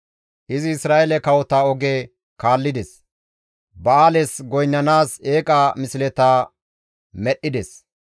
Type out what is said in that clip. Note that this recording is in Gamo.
izi Isra7eele kawota oge kaallides; Ba7aales goynnanaas eeqa misleta medhdhides.